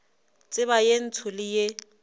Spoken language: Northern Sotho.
tseba ye ntsho le ye